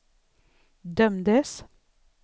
dömdes